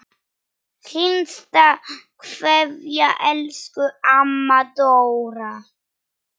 HINSTA KVEÐJA Elsku amma Dóra.